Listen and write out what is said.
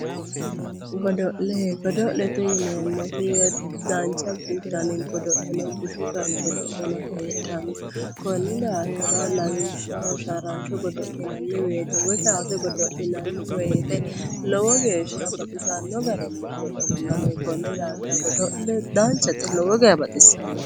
Godo'le godo'lete yineemmoti, danchu dani godo'le no bushu dani godo'le no heedhanno konni daafira lawishshaho sharranshsho godo'linnai woyite woy kaase godo'linayi woyiite lowo geeshsha baxisanno garinni godo'linanni konni daafira danchate lowo geeahsha baxissanno.